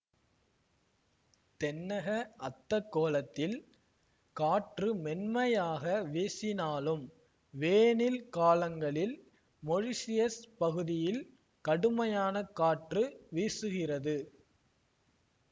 தென்னக அத்தகோளத்தில் காற்று மென்மையாக வீசினாலும் வேனில் காலங்களில் மொரீஷியஸ் பகுதியில் கடுமையான காற்று வீசுகிறது